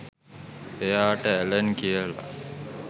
එයාට ඇලන් කියල